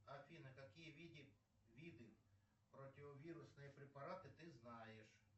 афина какие виды противовирусные препараты ты знаешь